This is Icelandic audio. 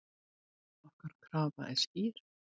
Okkar krafa er skýr.